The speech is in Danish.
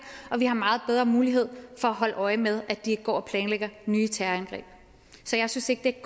og vi har meget bedre mulighed for at holde øje med at de ikke går og planlægger nye terrorangreb så jeg synes ikke